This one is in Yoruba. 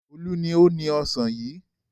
Olú ni ó ni ọ̀sán yìí.